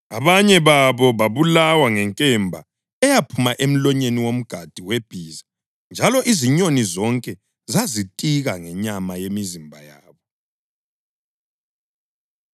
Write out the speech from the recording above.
Abanye babo babulawa ngenkemba eyaphuma emlonyeni womgadi webhiza njalo izinyoni zonke zazitika ngenyama yemizimba yabo.